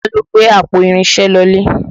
Bọlá ló gbé àpò irinṣẹ́ lọlé